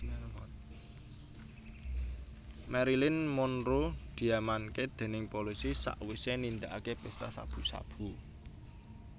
Marilyn Monroe diamanke dening polisi sakwise nindakake pesta sabu sabu